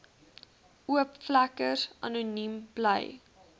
oopvlekkers anoniem bly